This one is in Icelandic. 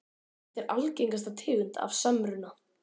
Þetta er algengasta tegund af samruna.